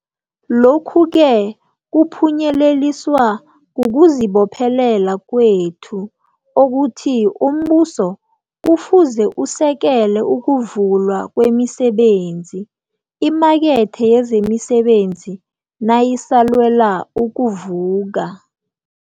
Lokhu-ke kuphunyeleliswa kukuzibophelela kwethu okuthi umbuso kufuze usekele ukuvulwa kwemisebenzi, imakethe yezemisebenzi nayisalwela ukuvuka.